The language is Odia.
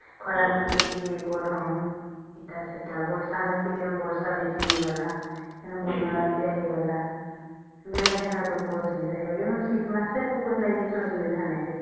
ଖରା ମାସେ କି ଗରମ ଏଟା ସେଟା ବର୍ଷା ମାସେ ବର୍ଷା ବେଶୀ ହେଲା ବନ୍ୟା ବାତ୍ୟା ହେଇଗଲା ବେଳେ ହେନେ ତମକୁ ଅସୁବିଧା ହେଇଯିବ ହେଲେ ଶୀତ ମାସେ ତମକୁ କିଛି ଅସୁବିଧା ନାଇଁ ହୁଏ